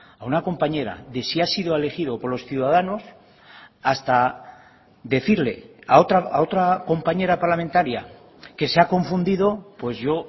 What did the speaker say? a una compañera de si ha sido elegido por los ciudadanos hasta decirle a otra compañera parlamentaria que se ha confundido pues yo